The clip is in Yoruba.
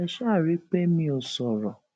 ẹ ṣáà rí i pé mi ò sọrọ